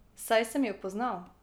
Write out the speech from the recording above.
Saj sem jo poznal.